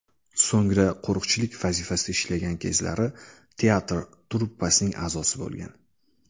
So‘ngra qo‘riqchilik vazifasida ishlagan kezlari teatr truppasining a’zosi bo‘lgan.